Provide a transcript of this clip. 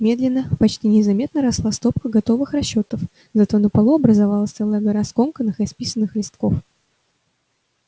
медленно почти незаметно росла стопка готовых расчётов зато на полу образовалась целая гора скомканных исписанных листков